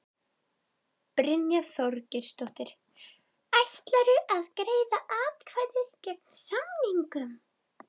Brynja Þorgeirsdóttir: Ætlarðu að greiða atkvæði gegn samningnum?